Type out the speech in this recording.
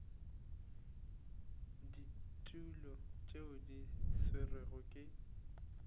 ditulo tšeo di swerwego ke